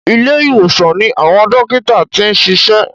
Ilé ìwòsàn ni àwọn dókítà ti ń ṣiṣẹ́.